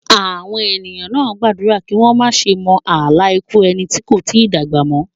Àwọn ènìyàn náà gbàdúrà kí wọ́n má ṣe mọ àlá ikú ẹni tí kò tí dàgbà mọ́.